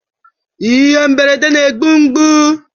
Ihe mberede na-egbu mgbu